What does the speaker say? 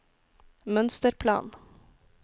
mønsterplan